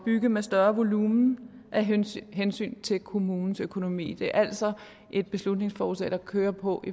bygge med større volumen af hensyn hensyn til kommunens økonomi det er altså et beslutningsforslag der kører på